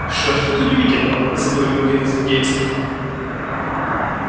что же тут удивительного заговорил один из индейцев